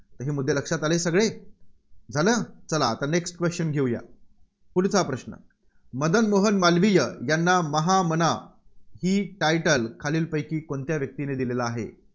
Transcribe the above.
हे मुद्दे लक्षात आले सगळे? झालं? चला आता next question घेऊया. पुढचा प्रश्न. मदन मोहन मालवीय यांना महामना ही title खालीलपैकी कोणत्या व्यक्तीने दिलेलं आहे.